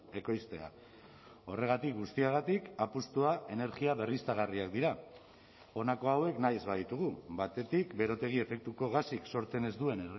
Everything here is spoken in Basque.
ekoiztea horregatik guztiagatik apustua energia berriztagarriak dira honako hauek nahi ez baditugu batetik berotegi efektuko gasik sortzen ez duen